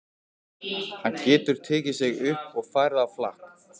Hann getur tekið sig upp og farið á flakk.